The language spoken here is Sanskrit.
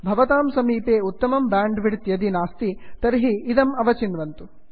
भवतां समीपे उत्तमं ब्यांड् विड्थ् यदि नास्ति तर्हि इदम् अवचिन्वन्तु